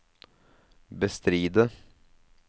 bestride